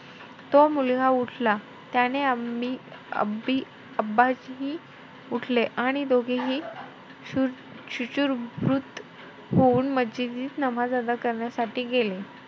तो मुलगा उठला. त्याने उठले आणि दोघेही शुचिर्भूत होऊन मस्जिदीत नमाज अदा करण्यासाठी गेले.